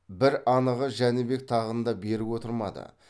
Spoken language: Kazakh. бір анығы жәнібек тағында берік отырмады